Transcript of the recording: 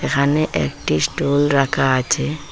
এখানে একটি স্টুল রাখা আছে।